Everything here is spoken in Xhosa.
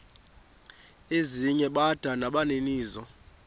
ezinye bada nabaninizo